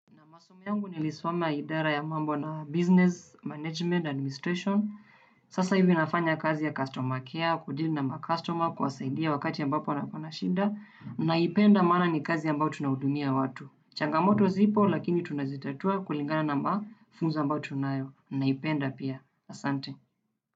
Naam masomo yangu nilisoma ya idara ya mambo na business management administration. Sasa hivi nafanya kazi ya customer care, kudeal na ma customer, kuwasaidia wakati ambapo wanako na shida. Naipenda maana ni kazi ambayo tunahudumia watu. Changamoto zipo lakini tunazitatua kulingana na mafunzo ambayo tunayo. Naipenda pia, asante.